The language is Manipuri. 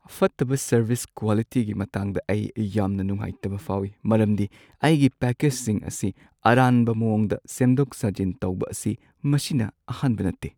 ꯐꯠꯇꯕ ꯁꯔꯚꯤꯁ ꯀ꯭ꯋꯥꯂꯤꯇꯤꯒꯤ ꯃꯇꯥꯡꯗ ꯑꯩ ꯌꯥꯝꯅ ꯅꯨꯡꯉꯥꯏꯇꯕ ꯐꯥꯎꯏ, ꯃꯔꯝꯗꯤ ꯑꯩꯒꯤ ꯄꯦꯀꯦꯖꯁꯤꯡ ꯑꯁꯤ ꯑꯔꯥꯟꯕ ꯃꯑꯣꯡꯗ ꯁꯦꯝꯗꯣꯛ-ꯁꯥꯖꯤꯟ ꯇꯧꯕ ꯑꯁꯤ ꯃꯁꯤꯅ ꯑꯍꯥꯟꯕ ꯅꯠꯇꯦ ꯫